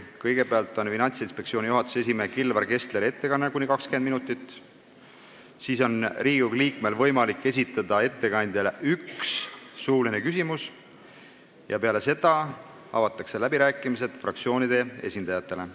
Kõigepealt on Finantsinspektsiooni juhatuse esimehe Kilvar Kessleri ettekanne kuni 20 minutit, seejärel on igal Riigikogu liikmel võimalik esitada ettekandjale üks suuline küsimus ja peale seda avatakse läbirääkimised fraktsioonide esindajatele.